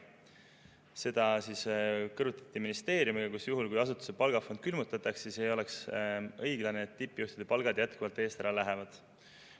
Seda kõrvutati aga ministeeriumiga, kus juhul, kui asutuse palgafond külmutatakse, ei oleks õiglane, et tippjuhtide palgad jätkuvalt eest ära lähevad.